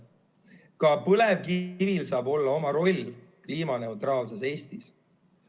Ka põlevkivil saab olla oma roll kliimaneutraalses Eestis.